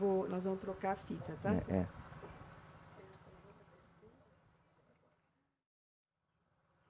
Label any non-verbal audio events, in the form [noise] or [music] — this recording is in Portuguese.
[unintelligible] Nós vamos trocar a fita, tá? [unintelligible]